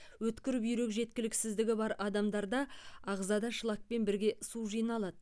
өткір бүйрек жеткіліксіздігі бар адамдарда ағзада шлакпен бірге су жиналады